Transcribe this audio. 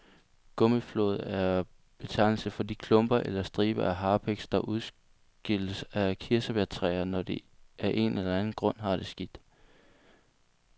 Gummiflåd er betegnelsen for de klumper eller striber af harpiks, der udskilles fra kirsebærtræer, når de af en eller anden grund har det skidt.